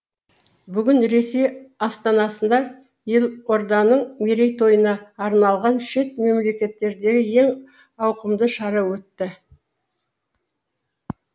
бүгін ресей астанасында елорданың мерейтойына арналған шет мемлекеттердегі ең ауқымды шара өтті